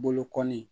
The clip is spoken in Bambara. Bolo kɔni